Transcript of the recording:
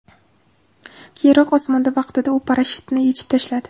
Keyinroq, osmonda vaqtida u parashyutni yechib tashladi.